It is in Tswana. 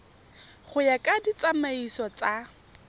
go ya ka ditsamaiso tsa